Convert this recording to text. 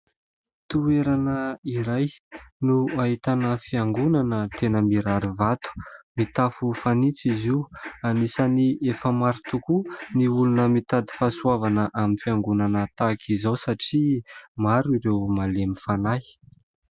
Toerana iray no ahitana fiangonana tena mirary vato mitafo fanitso izy io. Anisan'ny efa maro tokoa ny olona mitady fahasoavana amin'ny fiangonana tahaka izao satria maro ireo malemy fanahy.